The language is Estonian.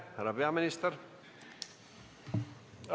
Härra peaminister!